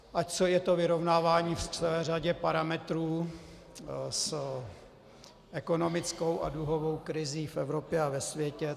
Ať je to vyrovnávání v celé řadě parametrů s ekonomickou a dluhovou krizí v Evropě a ve světě.